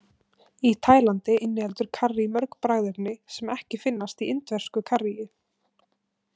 Í Tælandi inniheldur karrí mörg bragðefni sem ekki finnast í indversku karríi.